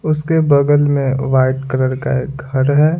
उसके बगल में वाइट कलर का एक घर है।